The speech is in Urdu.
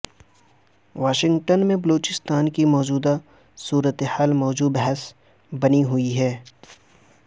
واشنگٹن میں بلوچستان کی موجودہ صورتحال موضوع بحث بنی ہوئی ہے